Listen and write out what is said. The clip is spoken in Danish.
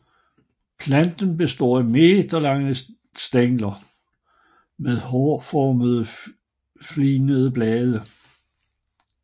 Planten består af meterlange stængler med hårformet fligede blade